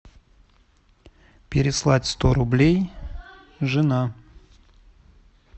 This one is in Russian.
переслать сто рублей жена